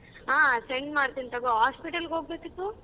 ಹಾ send ಮಾಡ್ತೀನ್ ತಗೋ. Hospital ಗೆ ಹೋಗ್ಬೇಕಿತ್ತು.